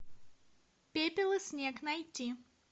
пепел и снег найти